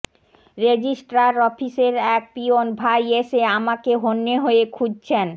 registrar অফিসের এক পিয়ন ভাই এসে আমাকে হন্যে হয়ে খুঁজছেন